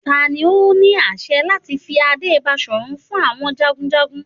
Tani o ni aṣẹ lati fi ade Baṣorun fun awọn jagunjagun?